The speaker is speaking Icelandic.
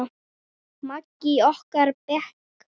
Maggi í okkar bekk?